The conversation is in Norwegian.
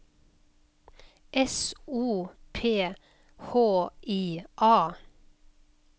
S O P H I A